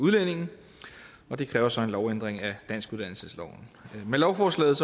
udlændinge og det kræver så en lovændring af danskuddannelsesloven med lovforslaget